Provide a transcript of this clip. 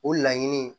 O laɲini